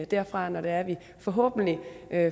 derfra når det er vi forhåbentlig